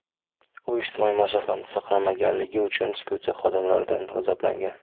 U ijtimoiy masofani saqlamaganligi uchun studiya xodimaridan g‘azablangan.